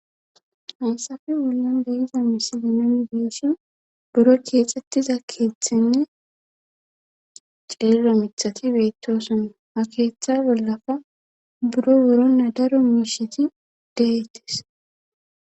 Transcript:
hansafe bollan deyiza misilinomi beeshin buro keexxettiza keeththinne ceello mithati beettoson ha keeththa bollafa buro buro na daro miisheti deyettes